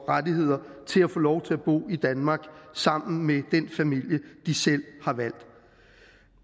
rettigheder til at få lov til at bo i danmark sammen med den familie de selv har valgt